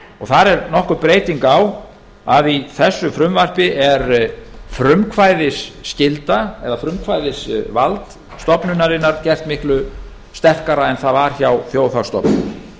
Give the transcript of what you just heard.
þar er nokkur breyting á að í þessu frumvarpi er frumkvæðisskylda eða frumkvæðisvald stofnunarinnar gert miklu sterkara en það var hjá þjóðhagsstofnun